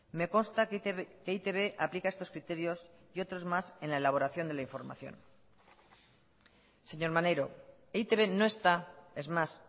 me consta que e i te be aplica estos criterios y otros más en la elaboración de la información señor maneiro e i te be no está es más